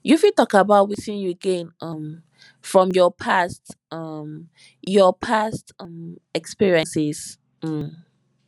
you fit talk about wetin you gain um from your past um your past um experiences um